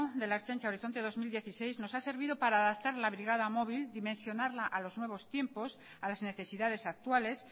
de la ertzaintza horizonte dos mil dieciséis nos ha servido para adaptar la brigada móvil dimensionarla a los nuevos tiempos a las necesidades actuales